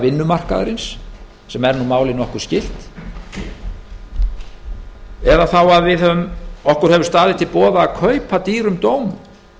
vinnumarkaðarins sem er nú málið nokkuð skylt eða þá að okkur hefur staðið til boða að kaupa dýrum dómum